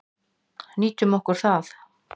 Nýtum okkur það.